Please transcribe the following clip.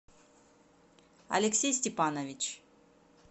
алексей степанович